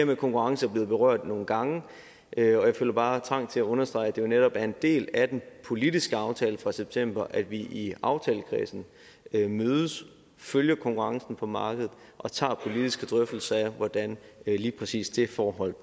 med konkurrence er blevet berørt nogle gange og jeg føler bare trang til at understrege at det jo netop er en del af den politiske aftale fra september at vi i aftalekredsen mødes følger konkurrencen på markedet og tager politiske drøftelser af hvordan lige præcis det forhold